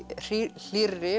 hlýrri